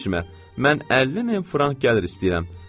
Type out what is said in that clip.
Mən 50 min frank gəlir istəyirəm.